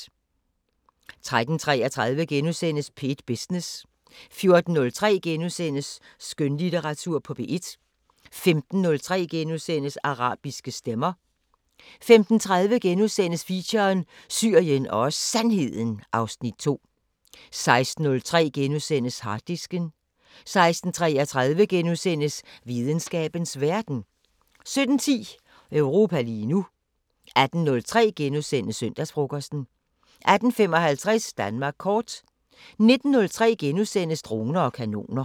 13:33: P1 Business * 14:03: Skønlitteratur på P1 * 15:03: Arabiske Stemmer * 15:30: Feature: Syrien og Sandheden (Afs. 2)* 16:03: Harddisken * 16:33: Videnskabens Verden * 17:10: Europa lige nu 18:03: Søndagsfrokosten * 18:55: Danmark kort 19:03: Droner og kanoner *